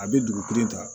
A bɛ dugukuni ta